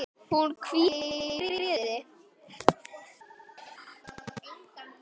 Hún hvíli í friði.